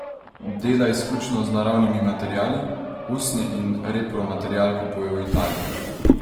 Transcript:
Dela izključno z naravnimi materiali, usnje in repromaterial kupuje v Italiji.